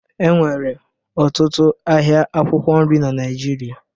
Enwere ọtụtụ ahịa akwụkwọ nri na Naịjirịa